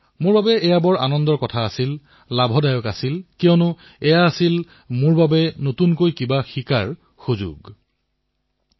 মোৰ বাবেও এয়া অতিশয় সুখদ সময় আছিল লাভদায়ক আছিল কিয়নো ইয়াৰ জৰিয়তে মইও নতুন কথা এটা শিকিলো নতুন কথা জনাৰ অৱকাশ লাভ কৰিলো